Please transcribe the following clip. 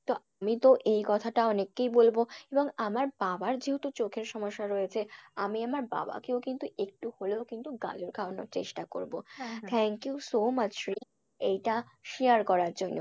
আমি তো এই কথাটা অনেককেই বলবো এবং আমার বাবার যেহেতু চোখের সমস্যা রয়েছে আমি আমার বাবাকেও কিন্তু একটু হলেও কিন্তু গাজর খাওয়ানোর চেষ্টা করবো। thank you so much Shreya এইটা share করার জন্য।